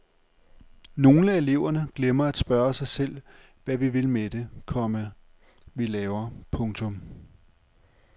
Nogle af eleverne glemmer at spørge sig selv hvad vi vil med det, komma vi laver. punktum